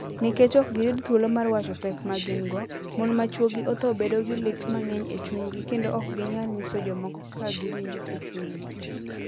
Nikech ok giyud thuolo mar wacho pek ma gin - go, mon ma chwogi otho bedo gi lit mang'eny e chunygi kendo ok ginyal nyiso jomoko kaka giwinjo e chunygi.